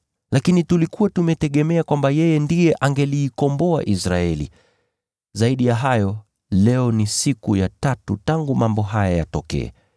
Lakini tulikuwa tumetegemea kwamba yeye ndiye angelikomboa Israeli. Zaidi ya hayo, leo ni siku ya tatu tangu mambo haya yatokee.